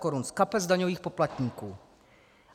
korun z kapes daňových poplatníků.